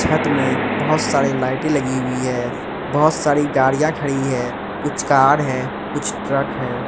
छत में बहोत सारी लाइटें लगी हुई है बहोत सारी गाड़ियां खड़ी है कुछ कार है कुछ ट्रक हैं।